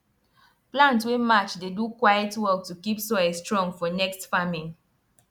plant wey match dey do quiet work to keep soil strong for next farming